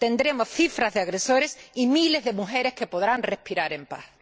Tendremos cifras de agresores y miles de mujeres que podrán respirar en paz.